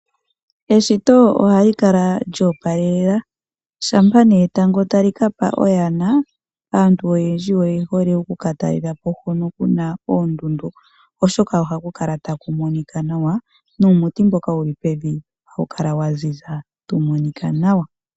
Eshito ohali kala lyoopala shampa etango tali kapa oyana aantu oyendji oye hole okukatalelapp hono kuna oondundu. Oshoka ohaku kala taku monika nawa nuumuti mboka hawu kala waziza tawu monika nawa.